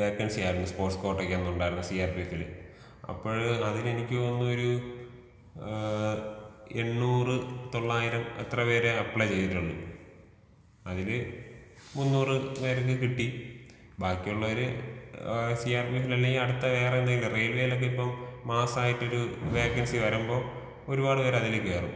വേക്കൻസിയായിരുന്നു. Sports കോട്ടക്കന്നുണ്ടായിരുന്നത് സി.ആർപിഎഫില് അപ്പഴ് അതിലെനിക്ക് തോന്നുന്നതൊരു ആ എണ്ണൂറ് തൊള്ളായിരം അത്ര പേരെ അപ്ലൈ ചെയ്തുള്ളൂ. അതില് മുന്നൂറ് പേർക്ക് കിട്ടി. ബാക്കിയുള്ളോര് ആ സിആർപിഎഫില് അല്ലെങ്കി അടുത്ത വേറെന്തെങ്കിലും റെയിൽവേലൊക്കെ ഇപ്പം മാസ്സായിട്ടൊരു വേക്കൻസി വരുമ്പോ ഒരുപാട് പേരതിലേക്ക് കേറും.